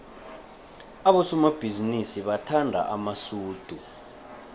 abosomabhizinisi bathanda amasudu